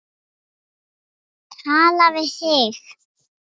Tala við þig?